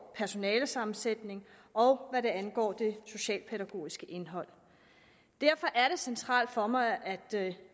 personalesammensætning og hvad angår det socialpædagogiske indhold derfor er det centralt for mig at